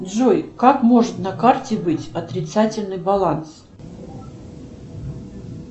джой как может на карте быть отрицательный баланс